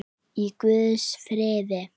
Í guðs friði.